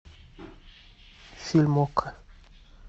фильм окко